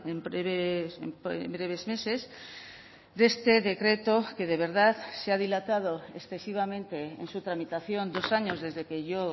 en breves meses de este decreto que de verdad se ha dilatado excesivamente en su tramitación dos años desde que yo